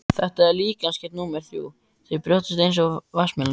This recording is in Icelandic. Þetta er líkamsgerð númer þrjú, með brjóst eins og vatnsmelónur.